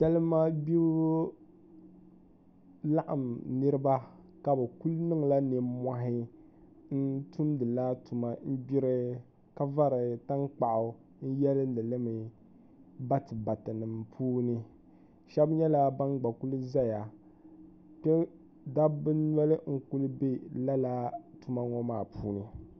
Salimagbibu laɣim niriba ka bɛ kuli niŋla nmmɔhi n-tumdila tuma n-gbiri ka fari tankpaɣu n-yeeni li mi batibatinima puuni shɛba nyɛla ban gba kuli zaya kpe dabba noli kuli be lala tuma ŋɔ maa puuni